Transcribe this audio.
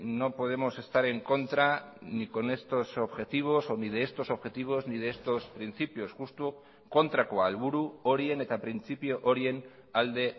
no podemos estar en contra ni con estos objetivos o ni de estos objetivos ni de estos principios justo kontrakoa helburu horien eta printzipio horien alde